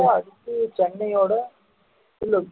அடுத்து சென்னையோட